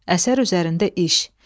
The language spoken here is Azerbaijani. Əsər üzərində iş.